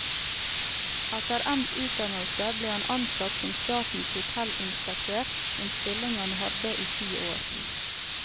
Etter endt utdannelse ble han ansatt som statens hotellinspektør, en stilling han hadde i ti år.